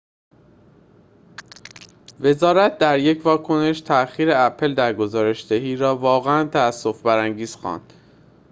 وزارت در یک واکنش تأخیر اپل در گزارش‌دهی را واقعاً تأسف برانگیز خواند